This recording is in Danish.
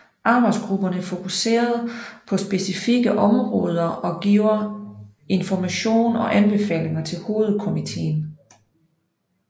Arbejdsgrupperne fokuserede på specifikke områder og giver information og anbefalinger til hovedkomitéen